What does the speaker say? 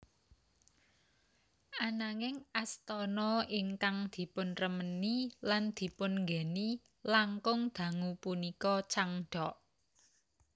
Ananging astana ingkang dipunremeni lan dipun nggèni langkung dangu punika Changdeok